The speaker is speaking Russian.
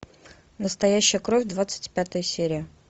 настоящая кровь двадцать пятая серия